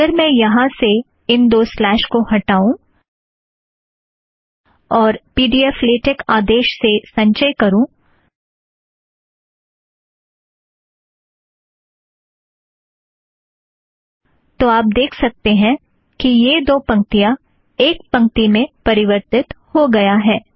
अगर मैं यहाँ से इन दो स्लॅश को हटाऊँ और पी ड़ी ऐफ़ लेटेक आदेश से संचय करुँ तो आप देख सकते हैं कि यह दो पंक्तियाँ एक पंक्ति में परिवर्थीत हो गया है